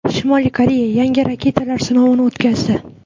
Shimoliy Koreya yangi raketalar sinovini o‘tkazdi.